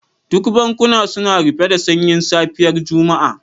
Duk bankuna suna rufe da sanyin safiyar Juma'a.